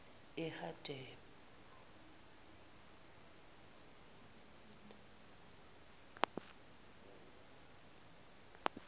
eharada